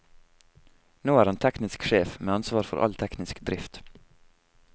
Nå er han teknisk sjef, med ansvar for all teknisk drift.